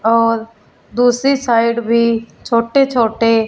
और दूसरी साइड भी छोटे छोटे--